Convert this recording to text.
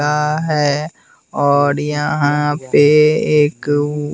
का हैं और यहाँ पे एक व --